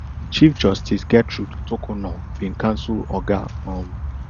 chief justice gertrude torkornoo bin cancel oga um